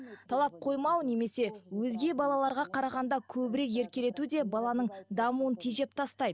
талап қоймау немесе өзге балаларға қарағанда көбірек еркелету де баланың дамуын тежеп тастайды